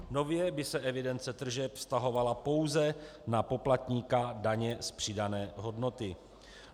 Nově by se evidence tržeb vztahovala pouze na poplatníka daně z přidané hodnoty.